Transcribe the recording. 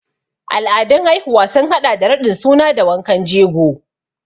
Al'adun haihuwa sun haɗa da raɗin suna da wankan jego.